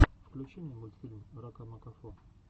включи мне мультфильм ракамакафо